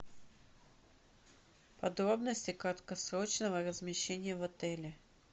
подробности краткосрочного размещения в отеле